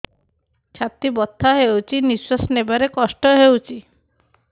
ଛାତି ବଥା ହଉଚି ନିଶ୍ୱାସ ନେବାରେ କଷ୍ଟ ହଉଚି